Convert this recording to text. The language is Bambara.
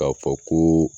K'a fɔ koo